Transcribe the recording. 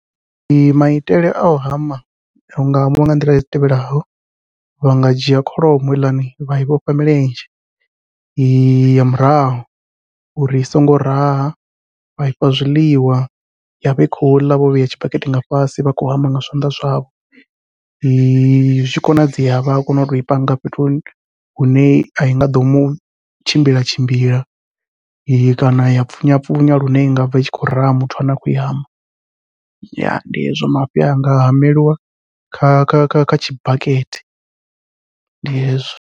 Maitele au hama hu hamiwa nga nḓila i tevhelaho, vha nga dzhia kholomo heiḽani vha i vhofha milenzhe ya murahu uri i songo raha vha ifha zwiḽiwa yavha i khou ḽa vho vhea tshibakete nga fhasi vha khou hama nga zwanḓa zwavho. zwi tshi konadzea vha a kona utoi panga fhethu hune ai nga ḓo mu tshimbila tshimbila kana ya pfunya pfunya lune inga bva i tshi khou raha muthu ane a khou i hama, ya ndi hezwo mafhi anga hameliwa kha kha kha kha tshibakete ndi hezwo.